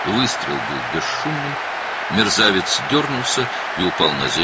Atəş səssiz idi, alçaq diksindi və yerə yıxıldı.